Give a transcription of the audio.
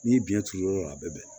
N'i ye biyɛn turu yɔrɔ dɔ la a bɛ bɛn